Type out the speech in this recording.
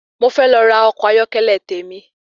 Mo fẹ́ lọ ra ọkọ̀ ayọ́kẹ́lẹ́ tèmi.